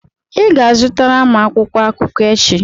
ị ga-azụtara m akwụkwọ akụkọ echi